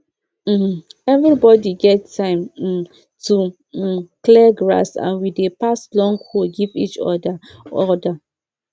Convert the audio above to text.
um everybody get time um to um clear grass and we dey pass long hoe give each other other